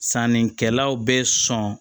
Sannikɛlaw bɛ sɔn